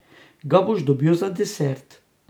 Ga boš dobil za desert.